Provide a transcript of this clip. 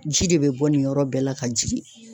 Ji de be bɔ nin yɔrɔ bɛɛ la ka jigin